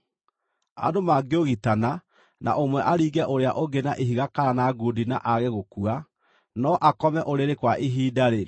“Andũ mangĩũgitana na ũmwe aringe ũrĩa ũngĩ na ihiga kana na ngundi na aage gũkua, no akome ũrĩrĩ kwa ihinda-rĩ,